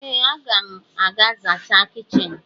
Ee, a ga m aga zachaa kichin.